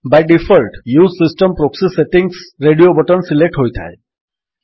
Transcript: Bai default use system proxy settings radio button select ହୋଇଥାଏ